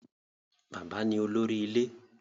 Bàbá ni olórí ilé.